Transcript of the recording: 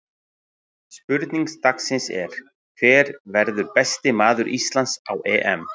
Spurning dagsins er: Hver verður besti maður Íslands á EM?